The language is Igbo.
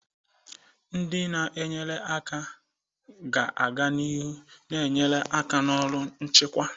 Ndị na-enyere aka ga-aga n'ihu na-enyere aka na ọrụ nchịkwa.